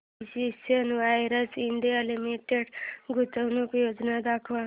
precision wires India limited गुंतवणूक योजना दाखव